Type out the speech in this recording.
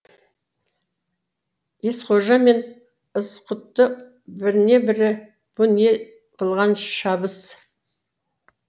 ескожа мен ызғұтты біріне бірі бұ не қылған шабыс